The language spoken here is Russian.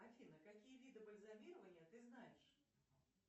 афина какие виды бальзамирования ты знаешь